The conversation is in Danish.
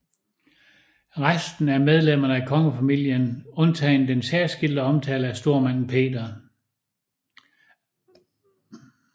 Resten er medlemmer af kongefamilier undtagen den særskilte omtale af stormanden Peter